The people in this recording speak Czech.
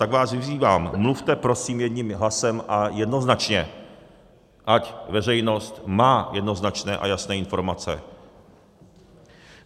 Tak vás vyzývám, mluvte prosím jedním hlasem a jednoznačně, ať veřejnost má jednoznačné a jasné informace.